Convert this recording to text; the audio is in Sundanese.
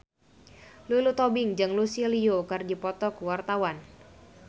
Lulu Tobing jeung Lucy Liu keur dipoto ku wartawan